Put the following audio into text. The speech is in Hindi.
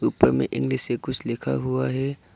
ऊपर में इंग्लिश से कुछ लिखा हुआ है।